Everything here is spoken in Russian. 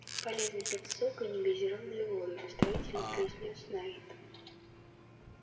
полезно пить сок и негазированную воду наставительно произнёс найд